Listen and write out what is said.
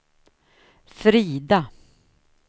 Frida